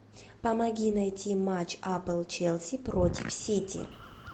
помоги найти матч апл челси против сити